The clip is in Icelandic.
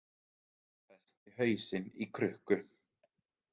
Festi hausinn í krukku